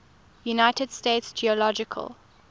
united states geological